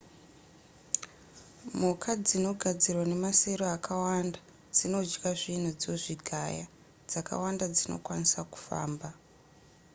mhuka dzinogadzirwa nemasero akawanda dzinodya zvinhu dzozvigaya dzakawanda dzinokwanisa kufamba